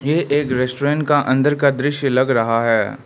यह एक रेस्टोरेंट का अंदर का दृश्य लग रहा है।